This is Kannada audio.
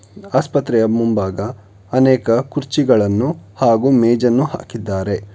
ಆಸ್ಪತ್ರೆಯ ಮುಂಭಾಗ ಅನೇಕ ಕುರ್ಚಿಗಳನ್ನು ಹಾಗೂ ಮೇಜನ್ನು ಹಾಕಿದ್ದಾರೆ.